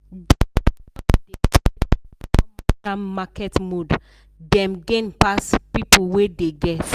dem wey don dey trade long don master market mood dem gain pass people wey dey guess.